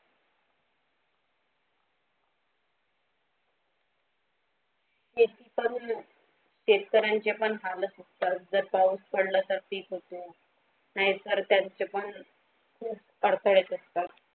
शेतकऱ्यांच्या पण हालत जर जर पाऊस पडलं तर की खूप नाही पडता तो पण खूप अडथळा येत असता.